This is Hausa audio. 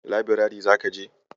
Labirari zaka je?